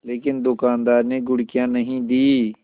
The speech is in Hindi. लेकिन दुकानदार ने घुड़कियाँ नहीं दीं